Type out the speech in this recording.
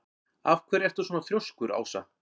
Af hverju ertu svona þrjóskur, Ása?